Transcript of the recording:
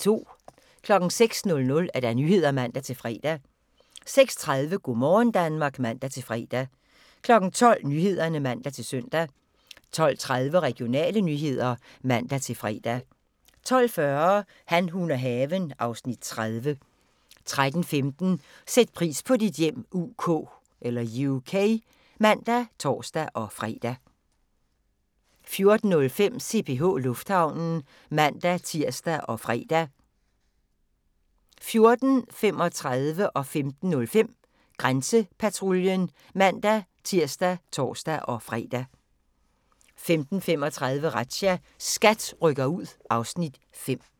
06:00: Nyhederne (man-fre) 06:30: Go' morgen Danmark (man-fre) 12:00: Nyhederne (man-søn) 12:30: Regionale nyheder (man-fre) 12:40: Han, hun og haven (Afs. 30) 13:15: Sæt pris på dit hjem UK (man og tor-fre) 14:05: CPH Lufthavnen (man-tir og fre) 14:35: Grænsepatruljen (man-tir og tor-fre) 15:05: Grænsepatruljen (man-tir og tor-fre) 15:35: Razzia – SKAT rykker ud (Afs. 5)